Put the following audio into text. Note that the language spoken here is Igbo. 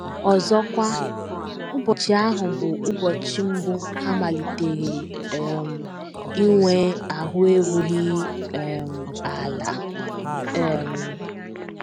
Ọzọkwa, ụbọchị ahụ bụ ụbọchị mbụ ha malitere um inwe ahụ́ erughị um ala um.